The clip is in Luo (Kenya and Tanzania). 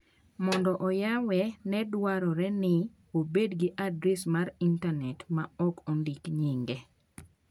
Mondo oyawe, ne dwarore ni obed gi adres mar intanet ma ok ondiki nyinge.